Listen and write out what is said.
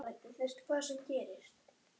Pabbi hans hét kannski Jósef.